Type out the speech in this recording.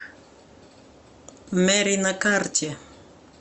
мэри на карте